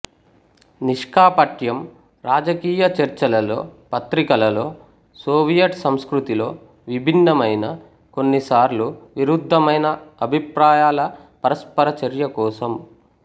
నిష్కాపట్యం రాజకీయ చర్చలలో పత్రికలలో సోవియట్ సంస్కృతిలో విభిన్నమైన కొన్నిసార్లు విరుద్ధమైన అభిప్రాయాల పరస్పర చర్య కోసం